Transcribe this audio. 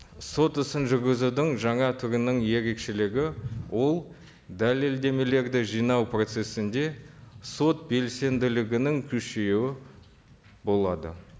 сот ісін жүргізудің жаңа түрінің ерекшелігі ол дәлеледмелерді жинау процессінде сот белсенділігінің күшеюі болады